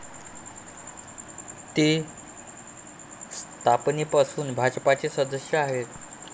ते स्थापनेपासून भाजपचे सदस्य आहेत.